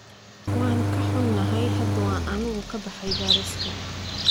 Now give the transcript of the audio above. Waan ka xunahay, hadda waanu ka baxay bariiska.